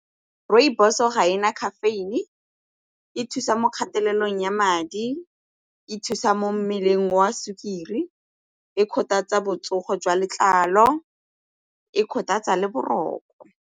Rooibos-o ga e na caffeine, e thusa mo kgatelelong ya madi, e thusa mo mmeleng wa sukiri, e kgothatsa botsogo jwa letlalo, e kgothatsa le boroko.